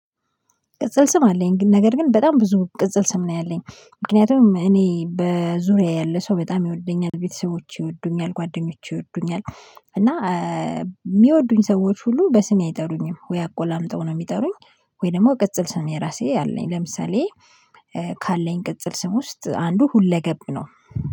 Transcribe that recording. ቅጽል ስም አለኝ ግን ነገር ግን በጣም ብዙ ቅጽል ስም ነው ያለኝ ምክንያቱም እኔ በዙሪያዬ ያለ ሰው በጣም ይወደኛል ቤተሰቦቼ ይወዱኛል ጓደኞቼ ይወዱኛል። እና የሚወዱኝ ሰዎች ሁሉ በስሜ አይጠሩኝም ወይ አቆላምጠው ነው የሚጠሩኝ። ወይ ደግሞ ቅጽል ስም የራሴ አለኝ። ለምሳሌ ካለኝ ቅጽል ስም ውስጥ አንዱ ሁለገብ ነው።